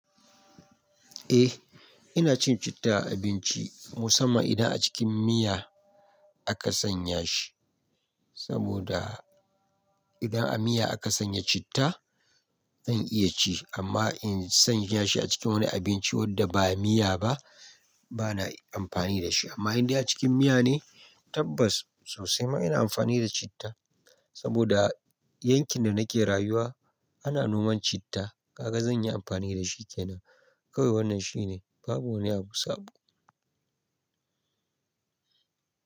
Eh ina cin citta a abinci musamman idan a cikin miya aka sanya shi saboda idan a miya aka sanya citta zan iya ci amma in sanya shi a cikin wani abinci wanda ba miya ba bana amfani da shi amma idan a cikin miya ne tabbas sosai ma ina amfani da citta saboda yankin da nake rayuwa ana noman citta kaga zan yi amfani da shi kenan kawai wannan shine babu wani abu sabo.